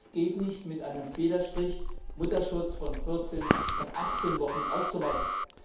Es geht nicht, mit einem Federstrich Mutterschutz von 14 auf 18 Wochen auszuweiten.